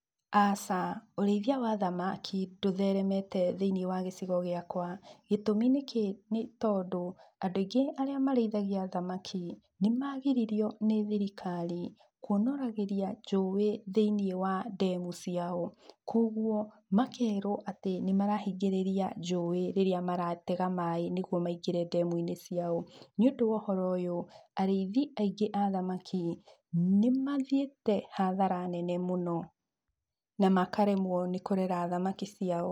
Aca, ũrĩithia wa thamaki ndũtheremete thĩiniĩ wa gĩcigo gĩakwa, gĩtũmi nĩ kĩ? Nĩ tondũ andũ aingĩ arĩa marĩithagia thamaki nĩ magiririo nĩ thirikari kuonoragĩria njũĩ thĩiniĩ wa ndemu ciao. Kũguo makerwo atĩ nĩ marahingĩrĩria njũĩ rĩrĩa maratega maĩ nĩguo maingĩre ndemu-inĩ ciao. Nĩ ũndũ wa ũhoro ũyũ, arĩithi aingĩ a thamaki nĩ mathiĩte hathara nene mũno na makaremwo nĩ kũrera thamaki ciao.